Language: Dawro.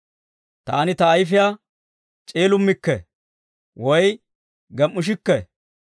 Taani ta ayifiyaa c'iilimmikke, woy gem"ishikke.